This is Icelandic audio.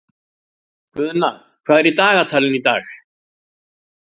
Guðna, hvað er í dagatalinu í dag?